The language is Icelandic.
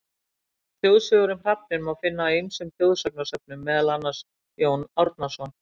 Þjóðsögur um hrafninn má finna í ýmsum þjóðsagnasöfnum, meðal annars: Jón Árnason.